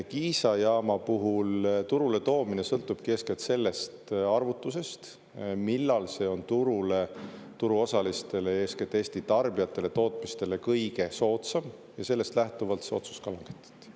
Kiisa jaama puhul turuletoomine sõltubki eeskätt sellest arvutusest, millal see on turule, turuosalistele, eeskätt Eesti tarbijatele, tootmistele kõige soodsam, ja sellest lähtuvalt see otsus ka langetati.